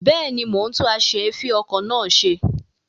Bẹ́ẹ̀ni, mo ń tún as'èéfìn-okọ̀ náà ṣe.